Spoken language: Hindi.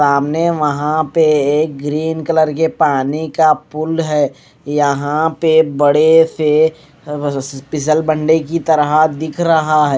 सामने वहां पे एक ग्रीन कलर के पानी का पूल है यहां पे बड़े से की तरह दिख रहा है।